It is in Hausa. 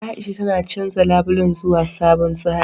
A'isha tana canja labulen zuwa sabon tsari.